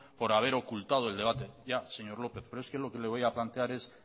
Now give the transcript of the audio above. por haber ocultado el debate ya señor lópez pero es que lo que le voy a plantear es